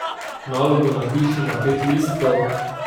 Nalogo napiši na pet listkov.